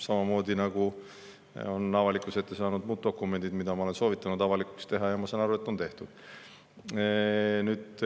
Samamoodi on avalikkuse ette saanud muud dokumendid, mida ma olen soovitanud avalikuks teha, ja ma saan aru, et on tehtud.